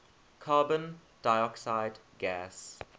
carbon dioxide gas